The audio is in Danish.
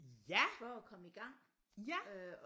Ja ja